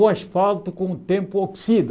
O asfalto com o tempo oxida.